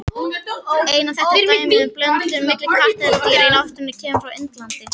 Eina þekkta dæmið um blöndun milli kattardýra í náttúrunni kemur frá Indlandi.